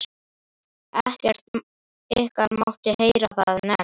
ekkert ykkar mátti heyra það nefnt!